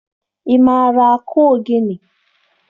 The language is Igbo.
Ị maara akụ ogene?